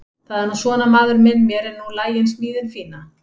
Það er nú svona maður minn mér er nú lagin smíðin fína.